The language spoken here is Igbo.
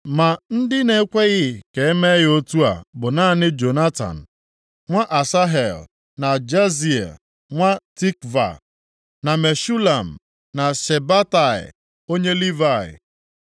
Ma ndị na-ekweghị ka e mee ya otu a bụ naanị Jonatan nwa Asahel na Jazeia nwa Tikva, na Meshulam na Shabetai onye Livayị.